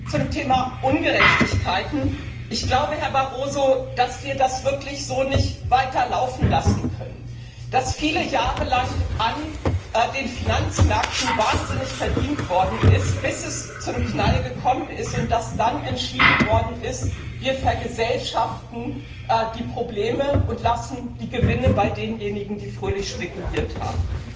Zum Thema Ungerechtigkeiten Ich glaube, Herr Barroso, dass wir das so nicht weiterlaufen lassen können, dass viele Jahre lang an den Finanzmärkten wahnsinnig verdient worden ist, bis es zum Knall gekommen ist und dann entschieden worden ist Wir vergesellschaften die Probleme und lassen die Gewinne bei denjenigen, die fröhlich spekuliert haben.